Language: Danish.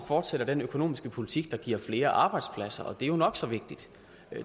fortsætter den økonomiske politik der giver flere arbejdspladser og det er jo nok så vigtigt